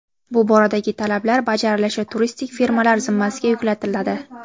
Bu boradagi talablar bajarilishi turistik firmalar zimmasiga yuklatiladi.